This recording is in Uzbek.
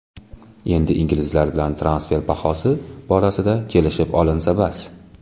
Endi inglizlar bilan transfer bahosi borasida kelishib olinsa bas.